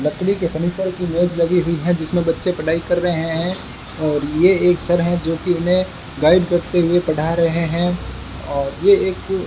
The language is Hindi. लकड़ी के फर्नीचर की इमेज लगी हुई है जिसमें बच्चे पढाई कर रहे हैं और ये एक सर हैं जो कि उन्हें गाइड करते हुए पढ़ा रहे हैं और ये एक --